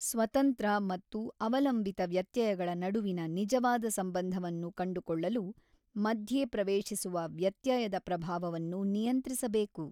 ಸ್ವತಂತ್ರ ಮತ್ತು ಅವಲಂಬಿತ ವ್ಯತ್ಯಯಗಳ ನಡುವಿನ ನಿಜವಾದ ಸಂಬಂಧವನ್ನು ಕಂಡುಕೊಳ್ಳಲು ಮಧ್ಯೆ ಪ್ರವೇಶಿಸುವ ವ್ಯತ್ಯಯದ ಪ್ರಭಾವನ್ನು ನಿಯಂತ್ರಿಸಬೇಕು.